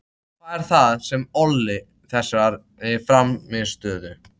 Hvað er það sem olli þessari frammistöðu?